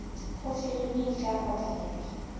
go filimi e ka bapalega